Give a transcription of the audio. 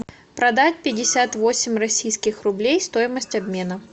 продать пятьдесят восемь российских рублей стоимость обмена